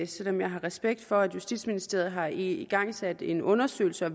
selv om jeg har respekt for at justitsministeriet har igangsat en undersøgelse og